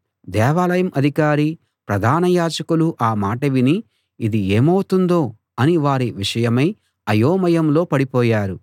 దేవాలయం అధికారీ ప్రధాన యాజకులూ ఆ మాట విని ఇది ఏమవుతుందో అని వారి విషయమై అయోమయంలో పడిపోయారు